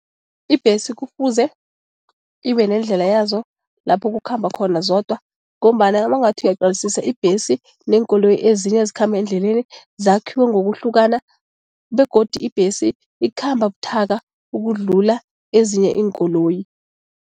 Ibhesi kufuze ibe nendlela yazo lapho kukhamba khona zodwa ngombana nabangathi ayaqalisisa ibhesi neenkoloyi ezinye ezikhamba endleleni zakhiwe ngokuhlukana begodu ibhesi ikhamba buthaka ukudlula ezinye iinkoloyi.